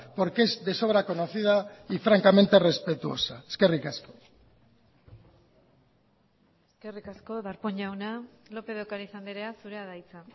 porque es de sobra conocida y francamente respetuosa eskerrik asko eskerrik asko darpón jauna lópez de ocariz andrea zurea da hitza